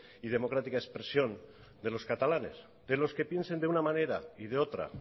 y democrática expresión de los catalanes de los que piensen de una manera y de otra